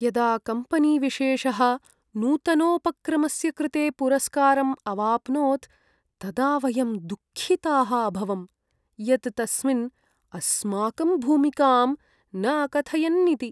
यदा कम्पनीविशेषः नूतनोपक्रमस्य कृते पुरस्कारम् अवाप्नोत् तदा वयं दुःखिताः अभवं, यत् तस्मिन् अस्माकं भूमिकां न अकथयन्निति।